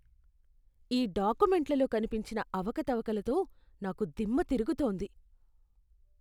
ఈ డాక్యుమెంట్లలో కనిపించిన అవకతవకలతో నాకు దిమ్మ తిరుగుతోంది.